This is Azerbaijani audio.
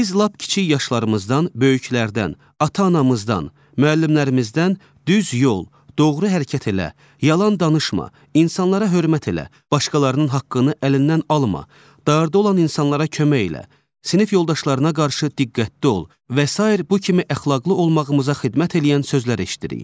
Biz lap kiçik yaşlarımızdan böyüklərdən, ata-anamızdan, müəllimlərimizdən düz yol, doğru hərəkət elə, yalan danışma, insanlara hörmət elə, başqalarının haqqını əlindən alma, darda olan insanlara kömək elə, sinif yoldaşlarına qarşı diqqətli ol və sair bu kimi əxlaqlı olmağımıza xidmət eləyən sözlər eşitdirik.